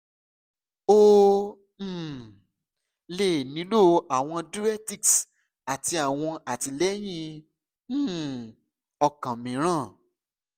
o um le nilo awọn diuretics ati awọn atilẹyin um okan miiran